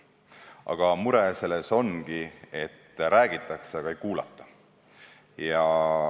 Aga mure selles ongi, et räägitakse, kuid ei kuulata.